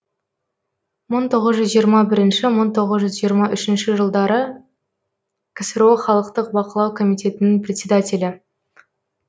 мың тоғыз жиырма бірінші мың тоғыз жүз жиырма үшінші жылдары ксро халықтық бақылау комитетінің председателі